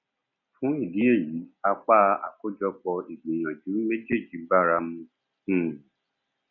fún ìdí èyí apá àkójọpọ ìgbìyànjú méjèjì báramu um